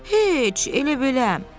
Heç elə-belə.